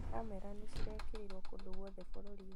Kamera nĩ cirekĩrwo kũndũ guothe bũrũri-inĩ